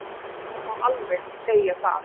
Það má alveg segja það.